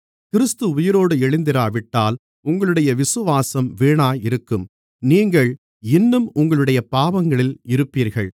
கிறிஸ்து உயிரோடு எழுந்திராவிட்டால் உங்களுடைய விசுவாசம் வீணாயிருக்கும் நீங்கள் இன்னும் உங்களுடைய பாவங்களில் இருப்பீர்கள்